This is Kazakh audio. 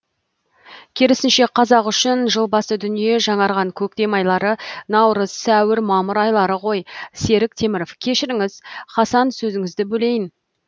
керісінше қазақ үшін жыл басы дүние жаңарған көктем айлары наурыз сәуір мамыр айлары ғой серік теміров кешіріңіз хасан сөзіңізді бөлейін